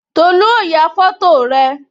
Tolu ó ya foto rẹ